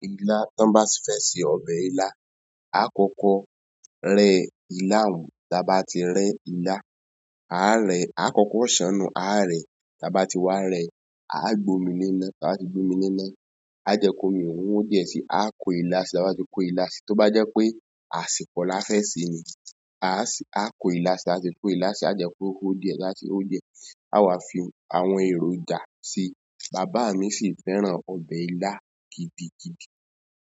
Ìlá tí wọ́n bá fẹ́ ṣe ọbẹ̀ ilá, a kọ́kọ́ rẹ ilá un, tí a bá ti rẹ ilá, a rẹ̀, a kọ́kọ́ ṣannù, a rẹ̀ tí a bá ti wá rẹ, a gbómi lená, tí a bá ti gbómi lená, a jẹ ko omi ọun ho diẹ sí, a kó ilá síi, tí a bá ti kó ilá síi, tó bá jẹ́ pé àsìkò la fẹ́ ṣe ni, a sì a kó ilá sí, a sì kó ilá síi, a jẹ ko hó díẹ̀ ti o bá ti ho diẹ, a wà fi àwọn èròjà síi. Bàbá mi sì fẹ́ràn ọbẹ̀ ilá gidigidi.